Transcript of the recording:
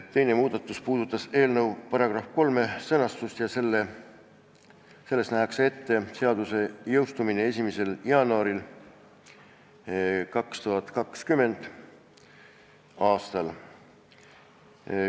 Teine muudatus puudutas eelnõu § 3 sõnastust ja selles nähakse ette seaduse jõustumine 1. jaanuaril 2020. aastal.